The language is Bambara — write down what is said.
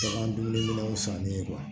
Bagan dumunikɛlaw sanni ye